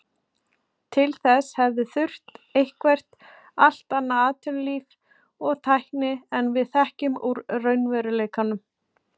Til þess hefði þurft eitthvert allt annað atvinnulíf og tækni en við þekkjum úr raunveruleikanum.